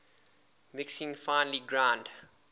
mixing finely ground